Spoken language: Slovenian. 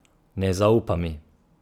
Ne zaupa mi.